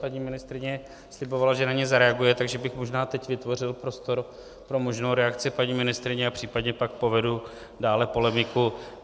Paní ministryně slibovala, že na ně zareaguje, takže bych možná teď vytvořil prostor pro možnou reakci paní ministryně a případně pak povedu dále polemiku.